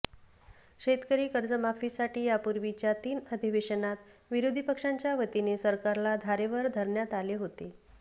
शेतकरी कर्जमाफीसाठी यापूर्वीच्या तीन अधिवेशनात विरोधी पक्षांच्या वतीने सरकारला धारेवर धरण्यात आले होते